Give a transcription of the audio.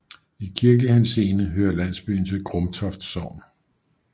I kirkelig henseende hører landsbyen til Grumtoft Sogn